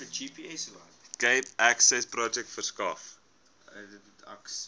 cape accessprojek verskaf